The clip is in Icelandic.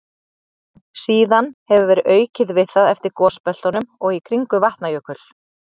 Síðan hefur verið aukið við það eftir gosbeltunum og í kringum Vatnajökul.